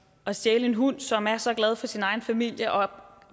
at stjæle en hund som er så glad for sin egen familie og